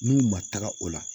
N'u ma taga o la